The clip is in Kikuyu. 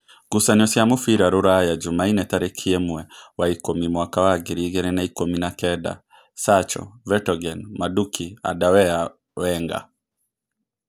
Ngucanio cia mũbira Rūraya Jumaine tarĩki ĩmwe wa ikũmi mwaka wa ngiri igĩrĩ na-ikũmi na-kenda: Sacho, Vetogen, Manduki, Andawea, Wenga